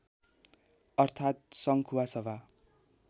अर्थात् सङ्खुवासभा